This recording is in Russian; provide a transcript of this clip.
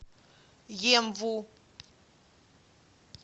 емву